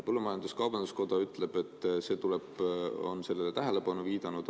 Põllumajandus-kaubanduskoda on sellele tähelepanu juhtinud.